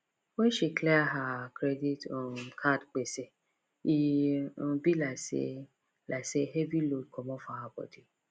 when she clear her credit um card gbese e um be like say like say heavy load comot for her body